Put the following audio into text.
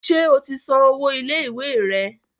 Ṣé o ti san owó ilé ìwé rẹ?